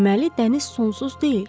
Deməli dəniz sonsuz deyil.